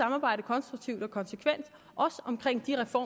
arbejde konstruktivt for